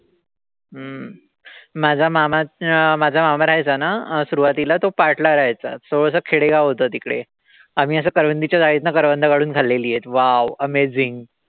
माझा मामा अं माझा मामा राहायचा ना सुरवातीला. तो पाट ला राहायचा. So असं खेडेगाव होत तिकडे. आम्ही असं करवंदीच्या जाळीतनं करवंद काढून खाल्लेलीय. Wow amazing.